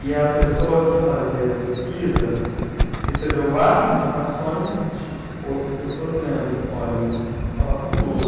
E a pessoa que fazia a pesquisa recebeu várias indicações de outras pessoas dizendo, olha, você tem que falar com o Lula.